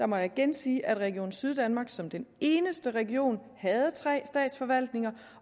må jeg igen sige at region syddanmark som den eneste region havde tre statsforvaltninger